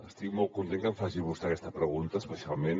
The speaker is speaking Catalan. estic molt content que em faci vostè aquesta pregunta especialment